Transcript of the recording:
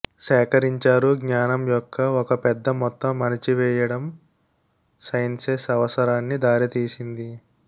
సేకరించారు జ్ఞానం యొక్క ఒక పెద్ద మొత్తం అణిచివేయడం సైన్సెస్ అవసరాన్ని దారితీసింది